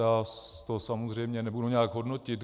Já to samozřejmě nebudu nějak hodnotit.